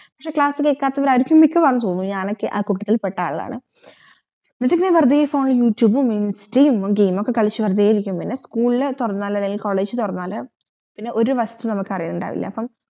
class കേൾക്കാത്തവറയര്ക്കും മിക്കവാറും zoom ഇൽ ഞാനൊക്കെ ആ കൂട്ടത്തിൽ പെട്ട ആളാണ് എന്നിട് വെറുതെ phone ചുമ്മാ ഇൻസ്റ്റായും game ഒകെ കളിച്ച വെറുതെ ഇരിക്കും പിന്ന school തോർന്നാൽ അല്ലെങ്കിൽ college തോർന്നാൽ ഒരു വസ്തു നമ്മുക് അറിവിണ്ടാവില്ല അപ്പം